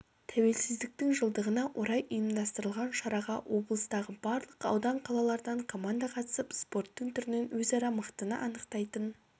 тәуелсіздіктің жылдығына орай ұйымдастырылған шараға облыстағы барлық аудан қалалардан команда қатысып спорттың түрінен өзара мықтыны анықтайтын